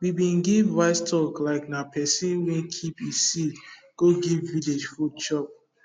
we bin give wise talk likena person wey keep e seed go give village food chop